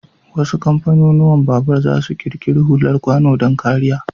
Wasu kamfanunuwan babur zasu ƙirƙiri hular kwano don kariya.